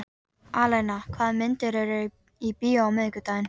Alena, hvaða myndir eru í bíó á miðvikudaginn?